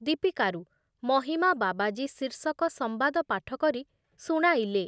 ଦୀପିକାରୁ ମହିମା ବାବାଜୀ ଶୀର୍ଷକ ସମ୍ବାଦ ପାଠ କରି ଶୁଣାଇଲେ ।